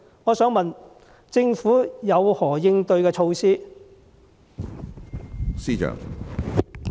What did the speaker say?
我想問政府有何應對措施？